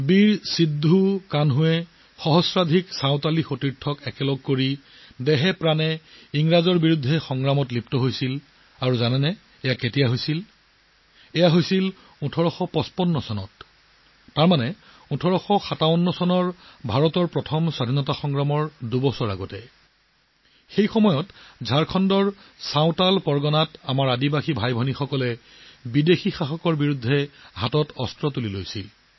বীৰ সিদ্ধ কানহুই হাজাৰ হাজাৰ সন্থালী সহকৰ্মীক একত্ৰিত কৰিছিল আৰু তেওঁৰ জীৱনৰ সৈতে ব্ৰিটিছৰ লগত যুঁজিছিল আৰু কেতিয়া হৈছিল সেইটো জানি থওক সেয়া সংঘটিত হৈছিল ১৮৫৫ চনত অৰ্থাৎ ১৮৫৭ চনত ভাৰতৰ প্ৰথম স্বাধীনতা সংগ্ৰামৰ দুবছৰ আগতে হৈছিল যেতিয়া আমাৰ জনজাতীয় ভাই ভনীসকলে ঝাৰখণ্ডৰ সন্থাল পৰগনাত বিদেশী শাসকসকলৰ বিৰুদ্ধে অস্ত্ৰ শস্ত্ৰ হাতত তুলি লৈছিল